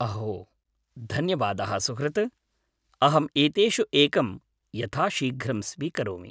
अहो, धन्यवादः सुहृत्, अहं एतेषु एकं यथाशीघ्रं स्वीकरोमि।